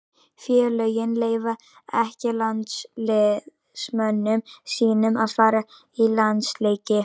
Félögin leyfa ekki landsliðsmönnum sínum að fara í landsleiki.